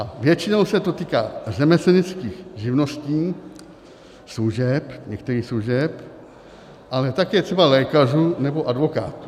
A většinou se to týká řemeslnických živností, služeb, některých služeb, ale také třeba lékařů nebo advokátů.